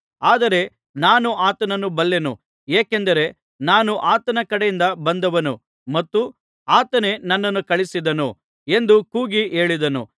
ಆದರೆ ನಾನು ಆತನನ್ನು ಬಲ್ಲೆನು ಏಕೆಂದರೆ ನಾನು ಆತನ ಕಡೆಯಿಂದ ಬಂದವನು ಮತ್ತು ಆತನೇ ನನ್ನನ್ನು ಕಳುಹಿಸಿದನು ಎಂದು ಕೂಗಿ ಹೇಳಿದನು